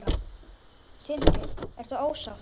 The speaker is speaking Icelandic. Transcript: Sindri: Ertu ósátt?